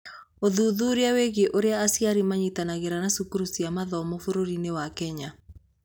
Ũthuthuria wĩgiĩ ũrĩa aciari manyitanagĩra na cukuru cia mathomo bũrũri-inĩ wa Kenya